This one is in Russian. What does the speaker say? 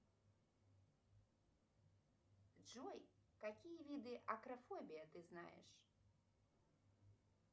джой какие виды акрофобия ты знаешь